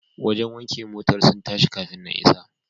Wajen wanke motar sun tashi kafun na isa.